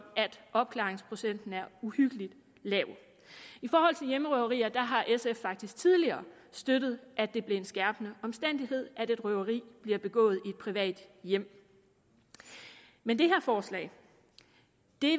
opklaringsprocenten er uhyggelig lav i forhold til hjemmerøverier har sf faktisk tidligere støttet at det blev en skærpende omstændighed at et røveri bliver begået i et privat hjem men det her forslag